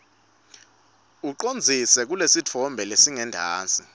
ucondzise kulesitfombe lesingentasi